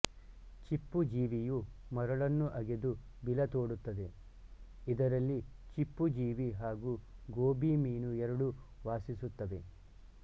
ಚಿಪ್ಪುಜೀವಿಯು ಮರಳನ್ನು ಅಗೆದು ಬಿಲ ತೋಡುತ್ತದೆ ಇದರಲ್ಲಿ ಚಿಪ್ಪುಜೀವಿ ಹಾಗು ಗೋಬಿ ಮೀನು ಎರಡೂ ವಾಸಿಸುತ್ತವೆ